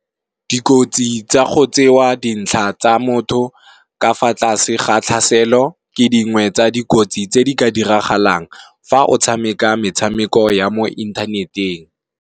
Dikotsi tsa go tsewa dintlha tsa motho ka fa tlase ga tlhaselo, ke dingwe tsa dikotsi tse di ka diragalang fa o tshameka metshameko ya mo inthaneteng.